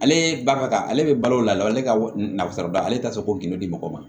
Ale ba ka ale bɛ balo o la ale ka nafolo da ale t'a fɛ ko kɛmɛ di mɔgɔ ma